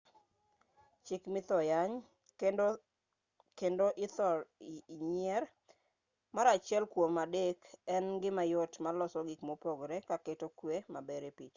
chik mithor yany kendo ithor nyier mar achiel kuom adek en gima yot maloso gik mopogre ka keto kwe maber e picha